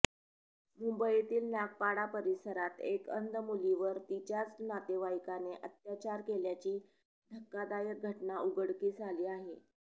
मुंबईतील नागपाडा परिसरात एका अंध मुलीवर तिच्याच नातेवाईकाने अत्याचार केल्याची धक्कादायक घटना उघडकीस आली आहे